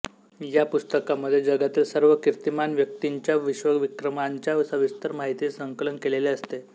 या पुस्तकामध्ये जगातील सर्व कीर्तिमान व्यक्तींच्या विश्वविक्रमांच्या सविस्तर माहितीचे संकलन केलेले असते